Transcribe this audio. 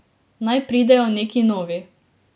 Naj pridejo neki novi.